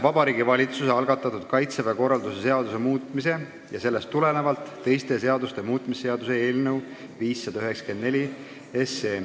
Vabariigi Valitsuse algatatud Kaitseväe korralduse seaduse muutmise ja sellest tulenevalt teiste seaduste muutmise seaduse eelnõu 594.